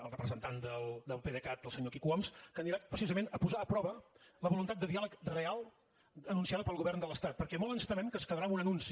el representant del pdecat el senyor quico homs que anirà precisament a posar a prova la voluntat de diàleg real anunciada pel govern de l’estat perquè molt ens temem que es quedarà en un anunci